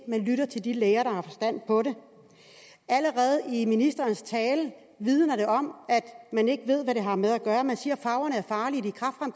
lytter til de læger der har forstand på det allerede ministerens tale vidnede om at man ikke ved hvad man har med at gøre man siger at farverne er farlige